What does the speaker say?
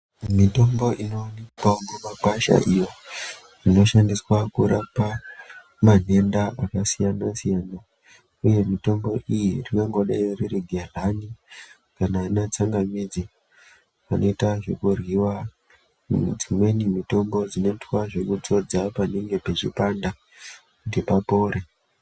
Mitombo inowanikwawo mumagwasha iyo inoshandiswa kurapa manhenda akasiyana-siyana uye mitombo iyi ringangodayi ririgehlani kana anatsangamidzi anoita zvekuryiwa kana dzimweni mitombo dzinoitwa dzekudzodzwa panenge pachipanda kuti papore.